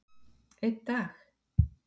einn dag?